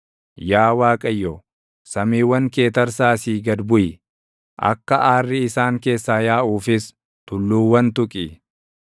Yaa Waaqayyo, samiiwwan kee tarsaasii gad buʼi; akka aarri isaan keessaa yaaʼuufis tulluuwwan tuqi.